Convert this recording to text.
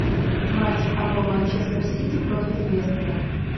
матч апл манчестер сити против лестера